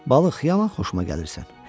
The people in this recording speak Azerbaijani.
Balıq, yaman xoşuma gəlirsən.